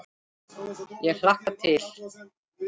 Ég hlakka til.